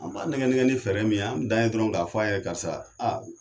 An b' a nɛgɛ nɛgɛ ni fɛɛrɛ min ye , an dan ye dɔrɔnw k'a f'a ye karisa aa